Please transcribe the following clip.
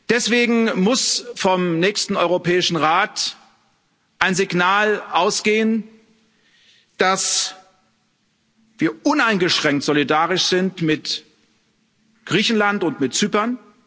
Deswegen muss vom nächsten Europäischen Rat ein Signal ausgehen, dass wir uneingeschränkt solidarisch sind mit Griechenland und mit Zypern.